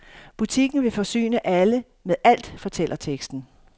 Butikken vil forsyne alle med alt, fortæller teksten.